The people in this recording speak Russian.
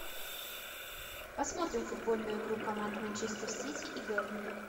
посмотрим футбольную игру команд манчестер сити и бернли